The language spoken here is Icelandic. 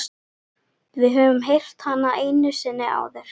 Við höfum heyrt hana einu sinni áður.